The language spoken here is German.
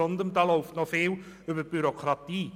Vielmehr läuft da noch vieles über die Bürokratie.